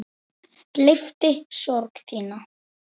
Gleypti sorg þína.